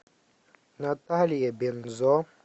наталья бензо